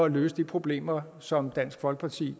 at løse de problemer som dansk folkeparti